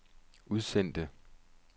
udsendte